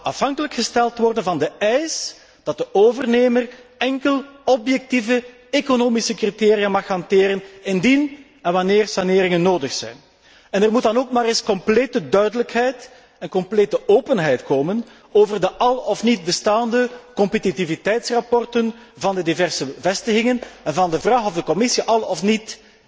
afhankelijk gesteld zal worden van de eis dat de overnemer enkel objectieve economische criteria mag hanteren, indien en wanneer saneringen nodig zijn. Er moet dan ook maar eens complete duidelijkheid en complete openheid komen over de al of niet bestaande competitiviteitsrapporten van de diverse vestigingen en van de vraag of de Commissie al of niet